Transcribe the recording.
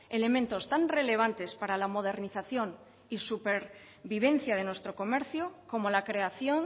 elementos tan relevantes para la modernización y supervivencia de nuestro comercio como la creación